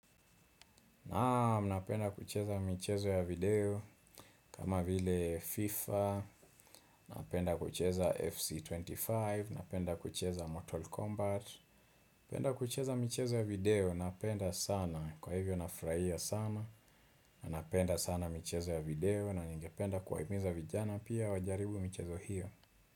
Naam, napenda kucheza michezo ya video kama vile FIFA napenda kucheza FC25, napenda kucheza Mortal Kombat, napenda kucheza mchezo ya video napenda sana kwa hivyo nafurahia sana, napenda sana mchezo ya video na nigependa kuwahimiza vijana pia wajaribu michezo hiyo.